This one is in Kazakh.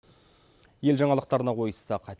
ел жаңалықтарына ойыссақ